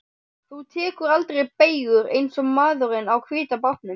Þú tekur aldrei beygjur eins og maðurinn á hvíta bátnum.